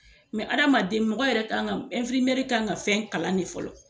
Mɛ adamaden mɔgɔ yɛrɛ ka kan infirimeri kan ka fɛn kalan de fɔlɔ